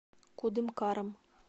кудымкаром